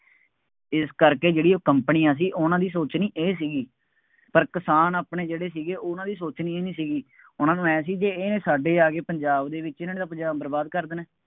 ਇਸ ਕਰਕੇ ਜਿਹੜੀ ਉਹ ਕੰਪਨੀਆਂ ਸੀ, ਉਹਨਾ ਦੀ ਸੋਚਣੀ ਇਹ ਸੀਗੀ, ਪਰ ਕਿਸਾਨ ਆਪਣੇ ਜਿਹੜੇ ਸੀਗੇ, ਉਹਨਾ ਦੀ ਸੋਚਣੀ ਇਹ ਨਹੀਂ ਸੀਗੀ, ਉਹਨਾ ਨੂੰ ਆਂਏਂ ਸੀ ਜੇ ਇਹਨੇ ਸਾਡੇ ਆ ਕੇ ਪੰਜਾਬ ਦੇ ਵਿੱਚ, ਇਹਨਾ ਨੇ ਤਾਂ ਪੰਜਾਬ ਬਰਬਾਦ ਕਰ ਦੇਣਾ।